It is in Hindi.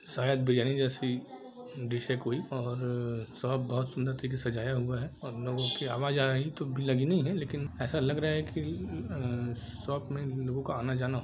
शायद बिरयानी जेसी डिश है कोई और शॉप बहुत सुंदर तरीके से सजाया हुआ है और लोगो की आवाज आ रही है तो लगी नही है लेकिन ऐसा लग रहा है की शॉप मे लोग आना जाना--